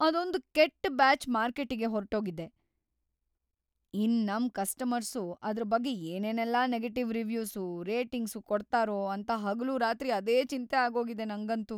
ಅದೊಂದ್‌ ಕೆಟ್ ಬ್ಯಾಚ್‌ ಮಾರ್ಕೆಟಿಗ್ ಹೊರ್ಟೋಗಿದೆ, ಇನ್ನ್ ನಮ್ ಕಸ್ಟಮರ್ಸು‌ ಅದ್ರ್‌ ಬಗ್ಗೆ ಏನೇನೆಲ್ಲ ನೆಗೆಟಿವ್‌ ರಿವ್ಯೂಸು, ರೇಟಿಂಗ್ಸು ಕೊಡ್ತಾರೋ ಅಂತ ಹಗಲೂರಾತ್ರಿ ಅದೇ ಚಿಂತೆ‌ ಆಗೋಗಿದೆ ನಂಗಂತೂ.